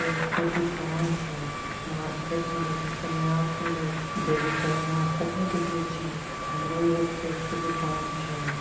केक के दुकान छै। मार्केट में लगी छै नया खुलाये छै। बेगुसराई मे आजतक नहीं दिखली छिये। हमरो एगो केक के दुकान छै ।